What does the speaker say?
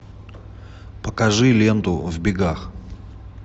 покажи ленту в бегах